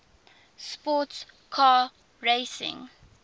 sports car racing